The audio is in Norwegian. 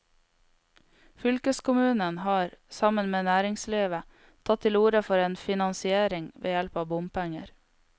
Fylkeskommunen har, sammen med næringslivet, tatt til orde for en finansiering ved hjelp av bompenger.